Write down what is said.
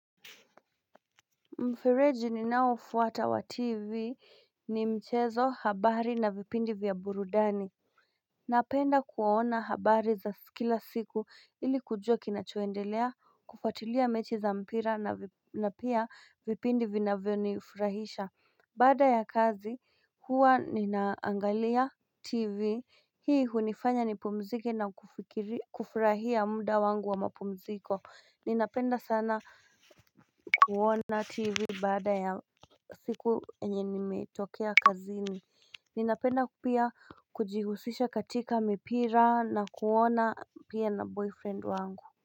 Mfereji ninaofuata wa tv ni mchezo habari na vipindi vya burudani Napenda kuona habari za kila siku ili kujua kinachoendelea kufuatilia mechi za mpira na pia vipindi vinavyonifurahisha Baada ya kazi huwa ninaangalia tv hii hunifanya nipumzike na kufurahia muda wangu wa mapumziko Ninapenda sana kuona tv baada ya siku enye nimetokea kazini Ninapenda pia kujihusisha katika mipira na kuona pia na boyfriend wangu.